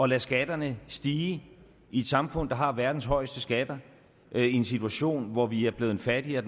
lade skatterne stige i et samfund der har verdens højeste skatter i en situation hvor vi er blevet fattigere